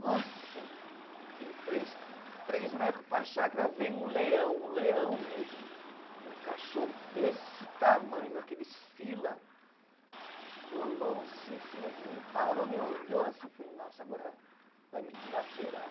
Nossa, em três, três metros para a chácara vem um leão, um leão mesmo, um cachorro desse tamanho, aqueles fila, colou assim em cima de mim, parou, me olhou assim, eu falei, nossa, agora vai me dilacerar.